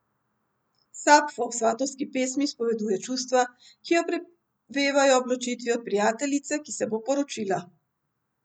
Sapfo v Svatovski pesmi izpoveduje čustva, ki jo prevevajo ob ločitvi od prijateljice, ki se bo poročila.